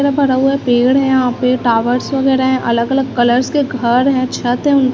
रा भरा हुआ पेड़ है यहां पे टावर्स वगैरह हैं अलग अलग कलर्स के घर हैं छत है उन--